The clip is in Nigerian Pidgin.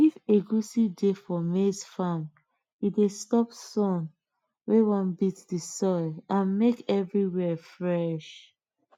if egusi dey for maize farm e dey stop sun when wan beat the soil and make everywhere fresh